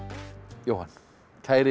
Jóhann kæri